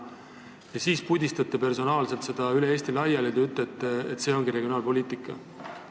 Ja siis te pudistate personaalselt seda raha üle Eesti laiali ja ütlete, et see ongi regionaalpoliitika.